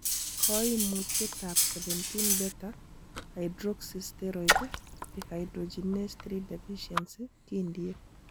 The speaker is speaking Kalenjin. Koimutietab 17 beta hydroxysteroid dehydrogenase 3 deficiency kindie.